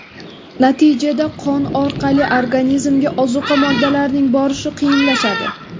Natijada qon orqali organizmga ozuqa moddalarining borishi qiyinlashadi.